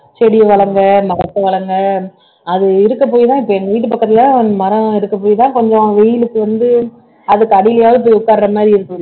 செடியை வளங்கள் மரத்தை வளங்கள் அது இருக்க போய்தான் இப்ப எங்க வீட்டு பக்கத்துல மரம் இருக்க போய்தான் கொஞ்சம் வெயிலுக்கு வந்து அதுக்கு அடியிலயாவது போய் உட்கார்ற மாதிரி இருக்கும்